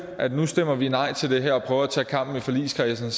at nu stemmer vi nej til det her og prøver at tage kampen i forligskredsen